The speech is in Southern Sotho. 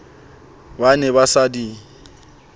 ba ne ba sa di